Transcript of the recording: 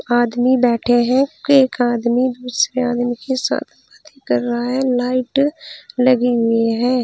आदमी बैठे हैं एक आदमी दूसरे आदमी के साथ बातें कर रहा है लाइट लगी हुई है।